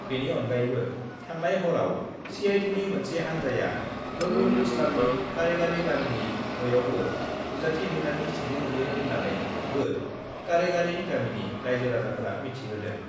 बेनि अनगायैबो थांनाय हराव सिआइडिनि मोनसे हान्जाया रबिउल इस्लामनि करेगारि गामिनि न'यावबो नुजाथिहैनानै सिग्रोमहैयो होन्नानैबो करेगारि गामिनि राइजो-राजाफोरा मिथिहोदों।